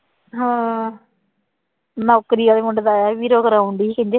ਹਾਂ ਨੌਕਰੀ ਵਾਲੇ ਮੁੰਡੇ ਦਾ ਆਇਆ ਸੀ ਵੀਰੋ ਕਰਵਾਉਂਦੀ ਸੀ